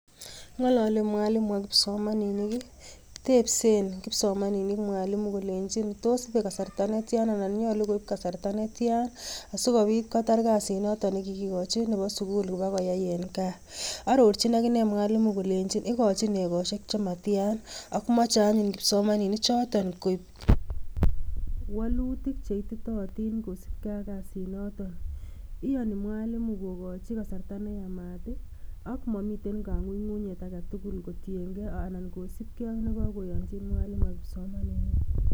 Ng'ololi mwalimu ak kipsomaninik, tebsen kipsomaninik mwalimu kolenjin tos ibe kasarta netyan anan nyolu koib kasarta netyan sikobit kotar kasit noton nekikikochi nebo sukul kobo koyai en gaa arorchin akinee mwalimu kolenjin ikochin ekosiek chematyan ak moche anyun kipsomaninik choton koik wolutik cheititotin kosibgee ak kasit noton. Iyoni mwalimu kokochi kasarta neyamat ih ak momiten kong'ung'unyet aketugul kotiengee anan kosibgee ak nekakoyonjin mwalimu ak kipsomaniat